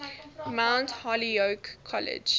mount holyoke college